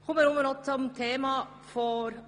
Nun zum Thema AGG.